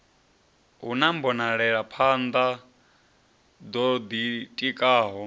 hu na mbonelaphanḓa ḓo ḓitikaho